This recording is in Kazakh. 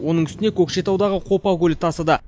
оның үстіне көкшетаудағы қопа көлі тасыды